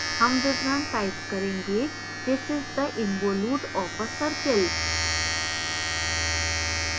हम विवरण type करेंगे this is the involute of a circle